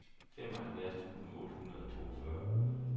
femoghalvfjerds tusind otte hundrede og toogfyrre